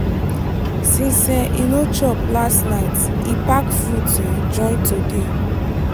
**since um e no chop last night e pack fruit um join today